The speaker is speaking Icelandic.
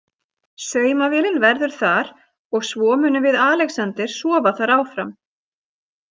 Saumavélin verður þar og svo munum við Alexander sofa þar áfram.